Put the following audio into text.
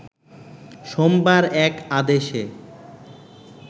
সোমবার এক আদেশে